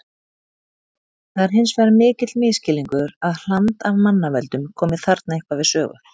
Það er hins vegar mikill misskilningur að hland af mannavöldum komi þarna eitthvað við sögu.